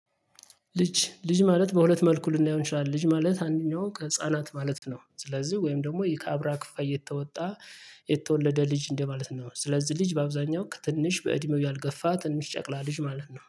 ልጅ ልጅ ማለት በሁለት መልኩ ልናየው እንችላለን ልጅ ማለት አንደኛው ህፃናት ማለት ነው። ስለዚህ ወይም ደግሞ ይሄ ከአብራ ክፋይ የተወጣ የተወለደ ልጅ እንደማለት ነው። ስለዚህ ልጅ በአብዛኛው ትንሽ በእድሜው ያልገፋ ትንሽ ጨቅላ ልጅ ማለት ነው